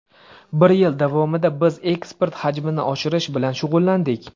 Bir yil davomida biz eksport hajmini oshirish bilan shug‘ullandik.